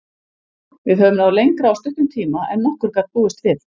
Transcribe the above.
Við höfum náð lengra á stuttum tíma en nokkur gat búist við.